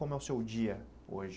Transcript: Como é o seu dia hoje?